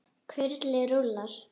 Kurlið rúllar.